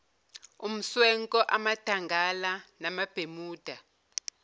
umswenko amadangala namabhemuda